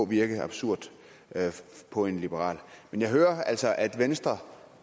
virker absurd på en liberal men jeg hører altså at venstre